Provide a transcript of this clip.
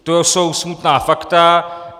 To jsou smutná fakta.